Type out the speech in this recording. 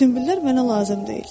Sünbüllər mənə lazım deyil.